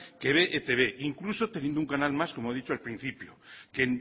que ve etb incluso teniendo un canal más como he dicho al principio que